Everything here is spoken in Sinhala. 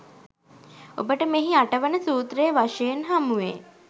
ඔබට මෙහි අටවන සූත්‍රය වශයෙන් හමුවේ